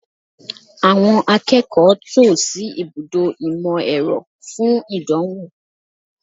Àwọn akẹ́kọ̀ọ́ tò sí ibùdó ìmọ̀-ẹ̀rọ fún ìdánwò